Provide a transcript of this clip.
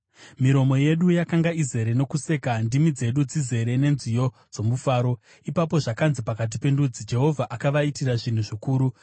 Miromo yedu yakanga izere nokuseka, ndimi dzedu dzizere nenziyo dzomufaro. Ipapo zvakanzi pakati pendudzi, “Jehovha akavaitira zvinhu zvikuru.”